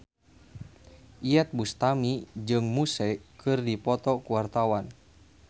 Iyeth Bustami jeung Muse keur dipoto ku wartawan